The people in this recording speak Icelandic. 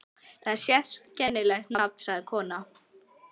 Það var sérkennilegt nafn, sagði konan.